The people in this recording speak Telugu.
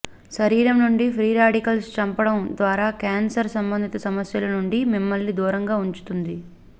శరీరం నుండి ఫ్రీ రాడికల్స్ చంపడం ద్వారా క్యాన్సర్ సంబంధిత సమస్యలు నుండి మిమ్మల్ని దూరంగా ఉంచుతుంది